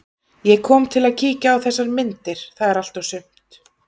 Ég kom til að kíkja á þessar myndir, það er allt og sumt.